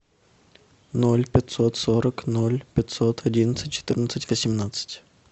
ноль пятьсот сорок ноль пятьсот одиннадцать четырнадцать восемнадцать